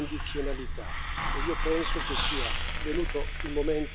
E io penso che sia venuto il momento ora di farlo.